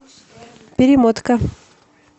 перемотка